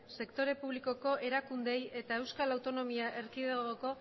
sektore publikoko erakundeei eta eaeko